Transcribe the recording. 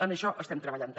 en això estem treballant també